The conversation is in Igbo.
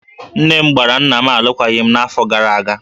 Nne m gbara nna m alụkwaghịm n'afọ gara aga